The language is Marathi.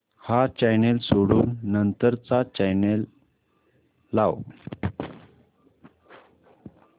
हा चॅनल सोडून नंतर चा चॅनल लाव